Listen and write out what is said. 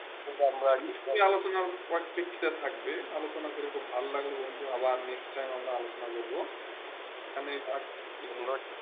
আলোচনা পেজ তা থাকবে আলোচনা করে খুব ভালো লাগলো বন্ধু আবার নেক্সট টাইম আমরা আলোচনা করবো এইখানে থাক